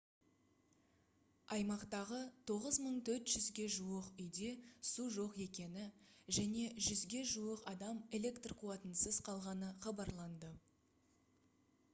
аймақтағы 9400-ге жуық үйде су жоқ екені және 100-ге жуық адам электр қуатынсыз қалғаны хабарланды